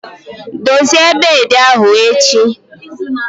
Dozie beedi ahụ echi!